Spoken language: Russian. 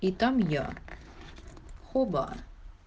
и там я хобо